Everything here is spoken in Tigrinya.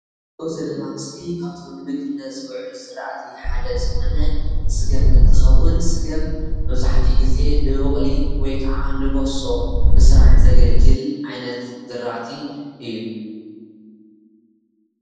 እዚ ንሪኦ ዘለና ምስሊ ካብቶም ንምግብነት ዝዉዕሉ ዝራእቲ ሓደ ዝኾነ ስገም እንትኸዉን ስገም መብዛሕቲኡ ግዜ ንቡቕሊ ወይ ከዓ ንበሶ ንምስራሕ ዘገልግል ዓይነት ዝራእቲ እዩ፡፡